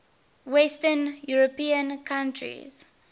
western european countries